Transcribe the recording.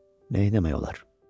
Neyləmək olar?